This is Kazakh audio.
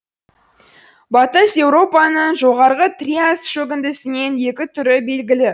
батыс еуропаның жоғарғы триас шөгіндісінен екі түрі белгілі